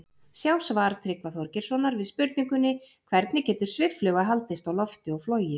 Sjá svar Tryggva Þorgeirssonar við spurningunni Hvernig getur sviffluga haldist á lofti og flogið?